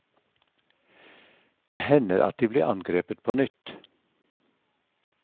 Det hender at de blir angrepet på nytt.